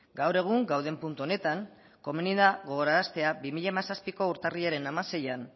gaur egun gauden puntu honetan komenigarria da gogoraraztea bi mila hamazazpiko urtarrilaren hamaseian